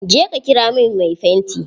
Je ka ƙira min mai fanti!